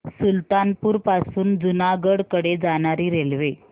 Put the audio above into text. सुल्तानपुर पासून जुनागढ कडे जाणारी रेल्वे